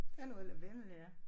Der er noget lavendel ja